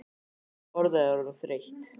Þessi orðræða er orðin þreytt!